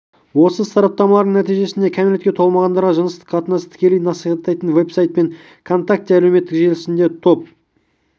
осы сараптамалардың нәтижесінде кәмелетке толмағандарға жыныстық қатынасты тікелей насихаттайтын веб-сайт пен контакте әлеуметтік желісіндегі топ